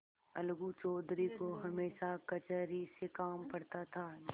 अलगू चौधरी को हमेशा कचहरी से काम पड़ता था